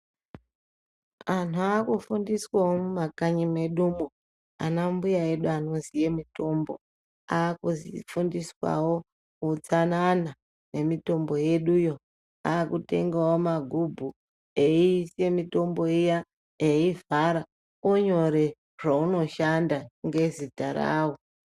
Andu ava kufundiswawo mumakanyi mwedumwo ana mbuya edu anoziya mitombo akufundiswawo hutsanana nemitombo yedu yo akutengawo magubhu eisawo mitombo iya eivhara onyore zvaunoshanda ngezita rawo.